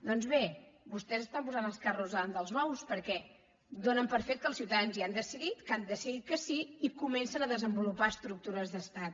doncs bé vostès estan posant els carros davant dels bous perquè donen per fet que els ciutadans ja han decidit que han decidit que sí i comencen a desenvolupar estructures d’estat